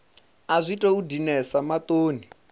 a zwi tou dinesa maṱoni